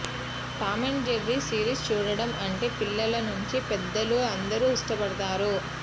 Tom and Jerry series చూడడం అంటే పిల్లల నుంచి పెద్దలు అందరూ ఇష్టపడతారు